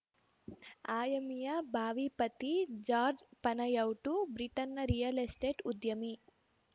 ಆ್ಯಮಿಯ ಬಾವಿ ಪತಿ George Panayiotou ಬ್ರಿಟನ್‌ನ ರಿಯಲ್‌ ಎಸ್ಟೇಟ್‌ ಉದ್ಯಮಿ